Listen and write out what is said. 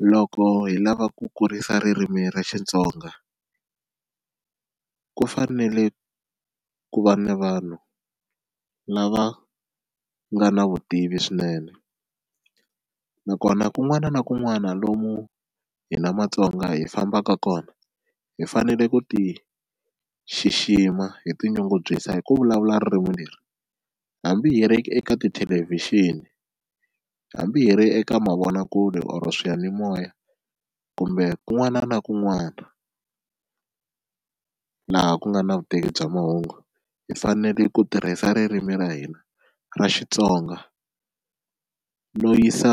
Loko hi lava ku kurisa ririmi ra Xitsonga ku fanele ku va na vanhu lava nga na vutivi swinene nakona kun'wana na kun'wana lomu hi na Matsonga hi fambaka kona, hi fanele ku ti xixima hi tinyungubyisa hi ku vulavula ririmi leri hambi hi ri eka tithelevhixini hambi hi ri eka mavonakule or swiyanimoya kumbe kun'wana na kun'wana laha ku nga na vutivi bya mahungu hi fanele ku tirhisa ririmi ra hina ra Xitsonga no yisa